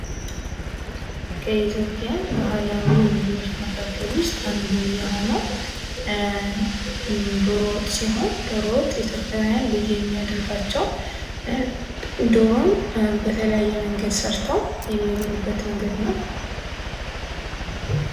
ከኢትዮጵያ ባህላዊ ምግቦች መካከል ውስጥ አንዱ የሆነው ዶሮ ወጥ ሲሆን ዶሮ ወጥ ኢትዮጵያውያን ልዩ የሚያደርጋቸው ዶሮን በተለያየ መንገድ ሰርተው የሚበሉበት መንገድ ነው ።